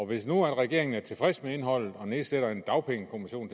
hvis nu regeringen er tilfreds med indholdet og nedsætter en dagpengekommission